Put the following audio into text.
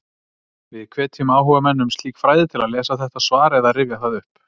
Við hvetjum áhugamenn um slík fræði til að lesa þetta svar eða rifja það upp.